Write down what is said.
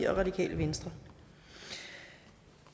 og radikale venstre